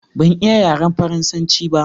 ban iya yaren faransanci ba